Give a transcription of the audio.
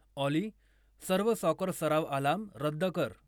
ऑली सर्व सॉकर सराव अलार्म रद्द कर.